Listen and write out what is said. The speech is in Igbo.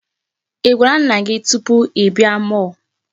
Ị gwara nna gị tupu ị bịa mall?